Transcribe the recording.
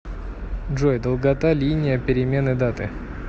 джой долгота линия перемены даты